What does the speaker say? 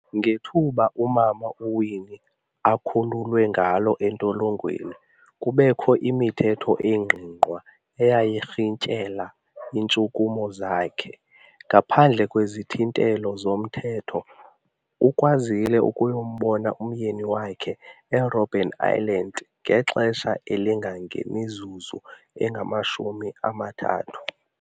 Ngethuba umama uWinnie akhululwe ngalo entolongweni, kubekho imithetho engqingqwa eyayirhintyela iintshukumo zakhe. Ngaphandle kwezithintelo zomthetho, ukwazile ukuyombona umyeni wakhe eRobben island ngexesha elingangemizuzu engamashumi amathathu.